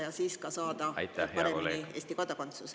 … eesti keelt omandada ja siis ka saada Eesti kodakondsus.